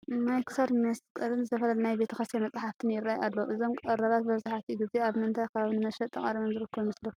ናይ ክሳድ መሳቕልን ዝተፈላለዩ ናይ ቤተ ክርስቲያን መፃሕፍትን ይርአዩ ኣለዉ፡፡ እዞም ቀረባት መብዛሕትኡ ግዜ ኣብ ምንታይ ከባቢ ንመሸጣ ቀሪቦም ዝርከቡ ይመስለኩም?